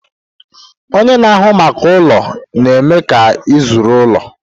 Ọnye na-ahụ maka ụlọ na-eme ka ịzụrụ ụlọ.